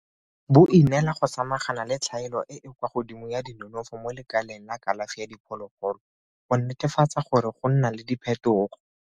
bo ineela go samagana le tlhaelo e e kwa godimo ya dinonofo mo lekaleng la kalafi ya diphologolo go netefatsa gore go nna le diphetogo.